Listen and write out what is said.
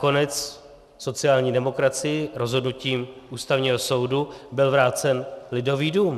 Nakonec sociální demokracii rozhodnutím Ústavního soudu byl vrácen Lidový dům.